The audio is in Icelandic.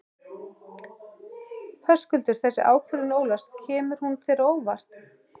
Höskuldur: Þessi ákvörðun Ólafs, kemur hún þér á óvart?